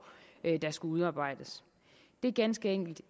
der skulle udarbejdes det er ganske enkelt